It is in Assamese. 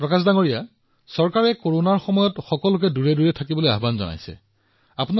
প্ৰকাশজী এফালেচৰকাৰে সকলোকে দূৰত্ব বজাই ৰাখিবলৈ কৈছে দূৰত্ব ৰাখিব কৰোনাত ইজনে সিজনৰ পৰা আঁতৰি থাকিব